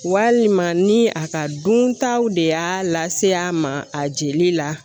Walima ni a ka duntaw de y'a lase a ma a jeli la